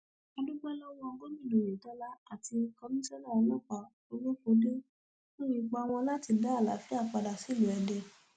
a dúpẹ lọwọ gómìnà oyetola àti komisanna ọlọpàá olókóde fún ipa wọn láti dá àlàáfíà padà sílùú èdè